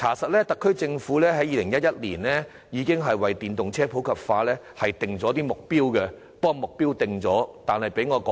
事實上，特區政府在2011年已為電動車普及化設定目標，但卻毫無成效。